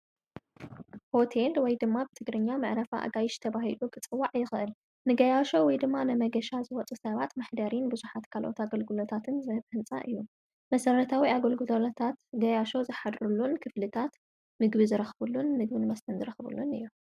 ሆቴል ወይ ድማ ብትግርኛ መዕረፋ ኣጋይሽ ተባሂሉ ኽጽዋዕ ይኽእል ንገያሾ ወይ ድማ ነመገሻ ዝወፁ ሰባት መሕደሪን ብዙሓት ካልኦት ኣገልግሎታትን ዘህበን ህንፃ እዩ መሠረታዊ ኣገልግሎሎታት ገያሾ ዝኃድሩሉን ክፍልታት ምግቢ ዝረኽብሉን ምግብን መስተን ዝረኽቡሉን እዮ።